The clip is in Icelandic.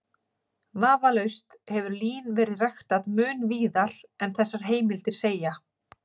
Vafalaust hefur lín verið ræktað mun víðar en þessar heimildir segja.